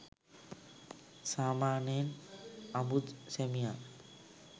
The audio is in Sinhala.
සාමාන්‍යයෙන් අඹු සැමියන්